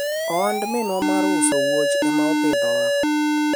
ohand minwa mar uso wuoch ema opidhowa